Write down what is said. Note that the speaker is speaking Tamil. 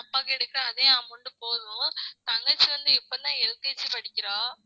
அப்பாக்கு எடுக்க அதே amount போதும் தங்கச்சி வந்து இப்பதான் LKG படிக்கிறா